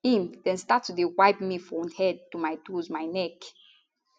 im dem start to dey wipe me for head to my toes my neck